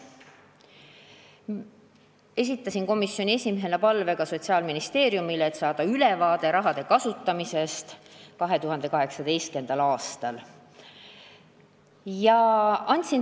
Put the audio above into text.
Esitasin komisjoni esimehena ka palve Sotsiaalministeeriumile, et saada ülevaade raha kasutamisest 2018. aastal.